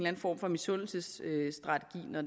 en form for misundelsesstrategi når